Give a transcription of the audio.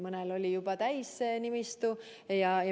Mõnel oli juba täis see nimistu.